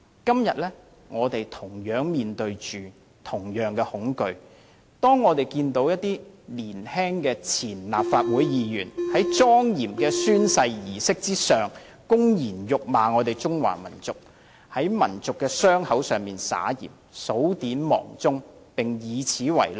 今天，我們面對着同樣的恐懼，當我們看見一些年青的前候任立法會議員在莊嚴的宣誓儀式上，公然侮辱中華民族，在民族的傷口上撒鹽，數典忘祖，並以此為樂。